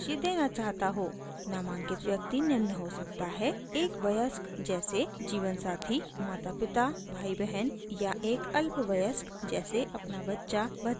नामांकित व्यक्ति निम्न हो सकता है : एक वयस्क जैसे जीवनसाथी मातापिता भाईबहन या एक अल्पवयस्क जैसे अपना बच्चा भतीजी/भांजी या भतीजा/भांजा